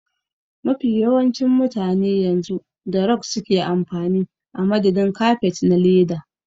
Mafi yawancin mutane yanzu da rog suke amfani a madadin kafet na leda.